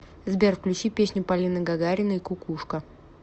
сбер включи песню полины гагариной кукушка